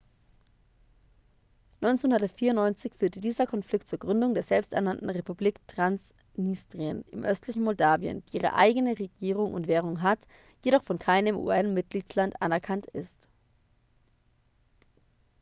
1994 führte dieser konflikt zur gründung der selbsternannten republik transnistrien im östlichen moldawien die ihre eigene regierung und währung hat jedoch von keinem un-mitgliedsland anerkannt ist